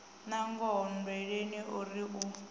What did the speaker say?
nangoho nndweleni o ri u